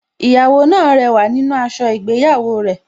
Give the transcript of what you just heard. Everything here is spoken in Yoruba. Ìyàwó náà rẹwà nínú aṣọ ìgbéyàwó rẹ̀